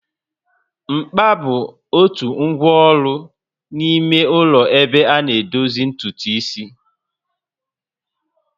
Mkpa bụ otu ngwa ọrụ n'ime ụlọ ebe ana edozi ntutu isi